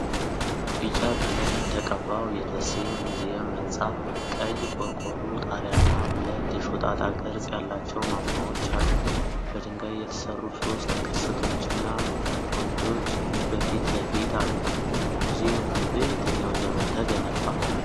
ቢጫ ቀለም የተቀባው የደሴ ሙዚየም ህንጻ፣ ቀይ ቆርቆሮ ጣሪያና ሁለት የሾጣጣ ቅርጽ ያላቸው ማማዎች አሉት። በድንጋይ የተሰሩ ሶስት ቅስቶችና ዓምዶች በፊት ለፊት አሉ። ሙዚየሙ በየትኛው ዘመን ተገነባ?